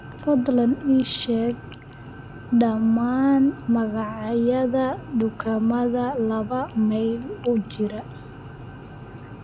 fadlan ii sheeg dhammaan magacyada dukaamada laba mayl u jira